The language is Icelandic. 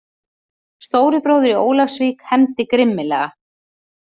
Stóri bróðir í Ólafsvík hefndi grimmilega!